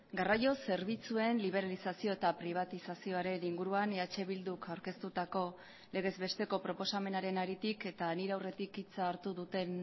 garraio zerbitzuen liberalizazio eta pribatizazioaren inguruan eh bilduk aurkeztutako legez besteko proposamenaren haritik eta nire aurretik hitza hartu duten